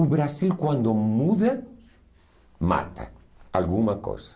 O Brasil, quando muda, mata alguma coisa.